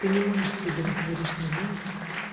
ты не можешь себе на сегодняшний день